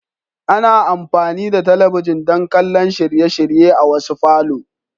Ana amfani da talabijin don kallon shirye-shirye a wasu falo.